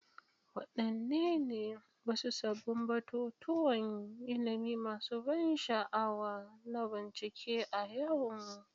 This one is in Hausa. Wadanne ne wasu sabbin batutuwan ilimi masu ban sha'awa na bincike a yau?